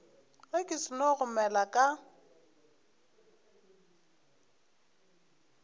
ge ke seno gomela ka